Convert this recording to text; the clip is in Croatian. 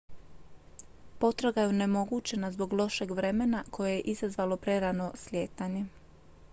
potraga je onemogućena zbog lošeg vremena koje je izazvalo prerano slijetanje